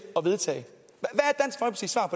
at vedtage